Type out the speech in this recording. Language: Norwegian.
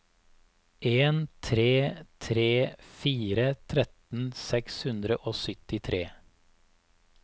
en tre tre fire tretten seks hundre og syttitre